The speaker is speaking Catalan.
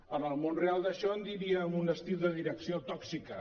en el món real d’això en diríem un estil de direcció tòxica